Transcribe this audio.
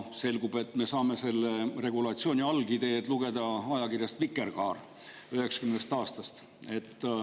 Selgus, et me saame selle regulatsiooni algideed lugeda ajakirjast Vikerkaar 1990. aastast.